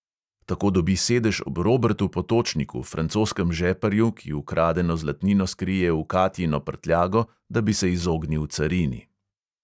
Tako dobi sedež ob robertu potočniku, francoskem žeparju, ki ukradeno zlatnino skrije v katjino prtljago, da bi se izognil carini.